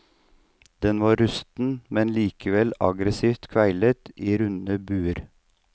Den var rusten, men likevel aggressivt kveilet i runde buer.